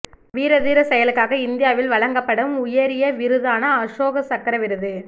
வீரதீரச் செயலுக்காக இந்தியாவில் வழங்கப்படும் உயரிய விருதான அசோகச் சக்ரா விருது